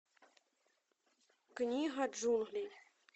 книга джунглей